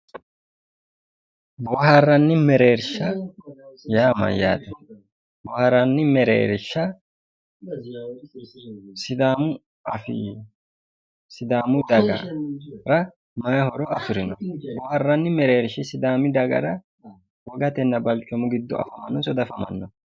Bohaaranni mereerisha yaa Mayyaate bohaaranni mereerisha sidaamu afii sidaamu dagara mayi horo afirino? Bohaaranni mereerish sidaam dagara wogatenna balichoomu giddo afamanoniso dafamanno?